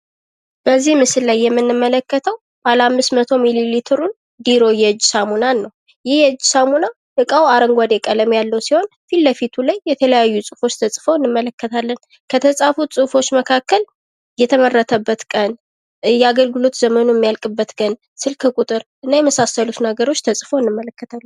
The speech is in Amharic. ምስሉ ላይ የምንመለከተው የዱሩ ሳሙናን ሲሆን የተለያዩ ነገሮች ተፅፈውበት እናያለን ።